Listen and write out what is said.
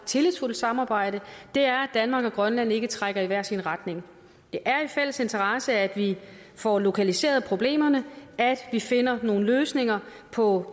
tillidsfuldt samarbejde er at danmark og grønland ikke trækker i hver sin retning der er en fælles interesse i at vi får lokaliseret problemerne at vi finder nogle løsninger på